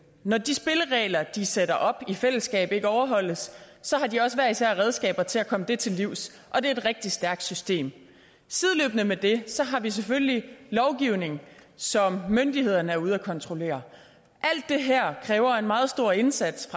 når de spilleregler de sætter op i fællesskab ikke overholdes så har de også hver især redskaber til at komme det til livs og det er et rigtig stærkt system sideløbende med det har vi selvfølgelig lovgivning som myndighederne er ude at kontrollere alt det her kræver en meget stor indsats